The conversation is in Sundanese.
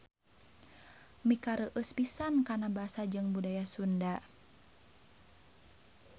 Mikareueus pisan kana Basa jeung Budaya Sunda.